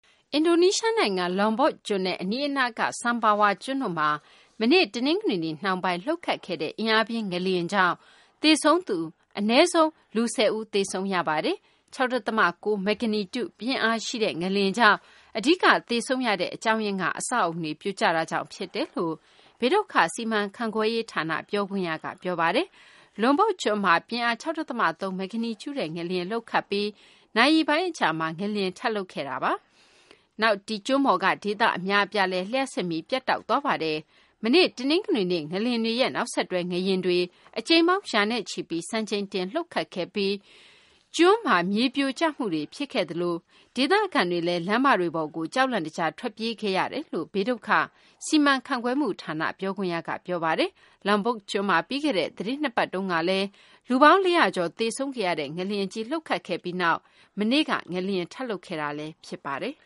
အင်ဒိုနီးရှား နိုင်ငံ Lombok ကျွန်းနဲ့ အနီးအနားက Sumbawa ကျွန်းတို့မှာ မနေ့ တနင်္ဂနွေနေ့ နှောင်းပိုင်း လှုပ်ခတ်ခဲ့တဲ့ အင်အားပြင်း ငလျင်ကြောင့် အနည်းဆုံး လူ ၁၀ ဦး သေဆုံးရပါတယ်။ ၆ ဒသမ ၉ မဂ္ဂနီကျူ ပြင်းအားရှိတဲ့ ငလျင်ကြောင့် အဓိက သေဆုံးရတဲ့ အကြောင်းရင်းကတော့ အဆောက်အအုံတွေ ပြိုကျတာကြောင့် ဖြစ်တယ်လို့ ဘေးဒုက္ခ စီမံခန့်ခွဲရေး ဌာန ပြောခွင့်ရ Sutopo Purwo Nugroho က ပြောပါတယ်။ Lombok ကျွန်းမှာ ပြင်းအား ၆ ဒသမ ၃ မဂ္ဂနီကျူရှိတဲ့ ငလျင်လှုပ်ခတ်ပြီး နာရီပိုင်းအကြာမှာ ငလျင်ထပ်လှုပ်ခဲ့တာ ဖြစ်ပြီး ကျွန်းပေါ်က ဒေသ အများအပြားမှာ လျှပ်စစ်မီး ပြတ်တောက်သွားခဲ့တာပါ။ မနေ့ တနင်္ဂနွေနေ့ ငလျင်တွေရဲ့ နောက်ဆက်တွဲ ငလျင်တွေ အကြိမ်ပေါင်း ရာနဲ့ချီပြီး စံချိန်တင် လှုပ်ခတ်ခဲ့ပြီး Lombok ကျွန်းမှာ မြေပြိုကျမှုတွေ ဖြစ်ခဲ့သလို ဒေသခံတွေလည်း လမ်းမတွေပေါ်ကို ကြောက်လန့်တကြား ထွက်ပြေးခဲ့ကြတယ်လို့ ဘေးဒုက္ခ စီမံခန့်ခွဲမှု ဌာန ပြောခွင့်ရက ပြောပါတယ်။ Lombok ကျွန်းမှာ ပြီးခဲ့တဲ့ သတင်း ၂ ပတ်က လူပေါင်း ၄၀၀ ကျော် သေဆုံးရတဲ့ ငလျင်ကြီး လှုပ်ခတ်ခဲ့ပြီးနောက် မနေ့က ငလျင် ထပ်လှုပ်ခဲ့တာလည်း ဖြစ်ပါတယ်